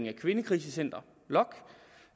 af kvindekrisecentre lokk